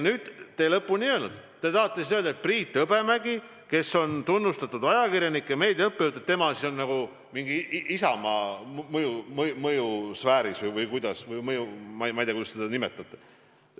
Seda te ei öelnud, kas te tahate öelda, et Priit Hõbemägi, kes on tunnustatud ajakirjanik ja meediaõppejõud, on Isamaa mõjusfääris või ma ei tea, kuidas te seda nimetate.